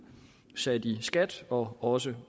sat i skat og også